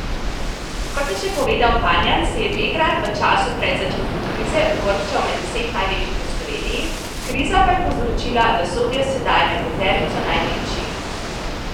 Kot je še povedal Panjan, se je Begrad v času pred začetkom krize uvrščal med deset največjih v Sloveniji, kriza pa je povzročila, da sodijo sedaj med peterico največjih.